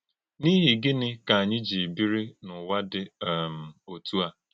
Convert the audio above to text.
N’íhì gịnị kà ányị jí bírí n’ụ́wà dị um òtú a?